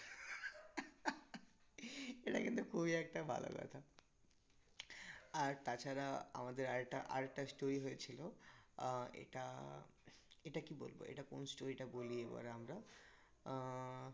এটা কিন্তু খুবই একটা ভালো কথা আর তাছাড়া আমাদের আর একটা, আর একটা story হয়েছিল আহ এটা এটা কি বলবো? এটা কোন story টা বলি এবার আমরা আহ